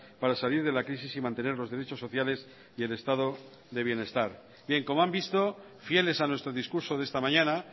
para salir de la crisis y mantener los derechos sociales y el estado de bienestar bien como han visto fieles a nuestro discurso de esta mañana